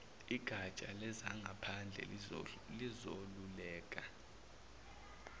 igatsha lezangaphandle lizokweluleka